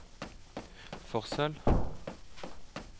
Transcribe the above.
Forsøl